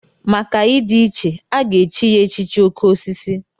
Maka ịdị iche, a ga-echi ya echichi oké osisi.